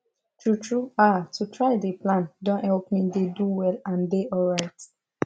true true haaa to try dey plan don help me dey do well and dey alright